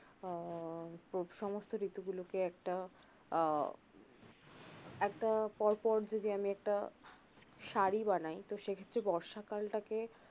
আহ সমস্থ ঋতুগুলোকে একটা আহ একটা পর পর যদি আমি একটা সারি বানাই তো সে ক্ষেত্রে বর্ষাকালটাকে